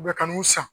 U bɛ ka n'u san